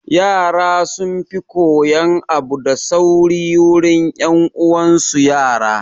Yara sun fi koyan abu da sauri wurin 'yan uwan su yara